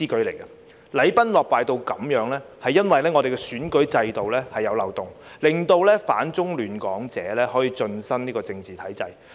禮崩樂壞至此，是因為我們的選舉制度有漏洞，令反中亂港者可以進身政治體制。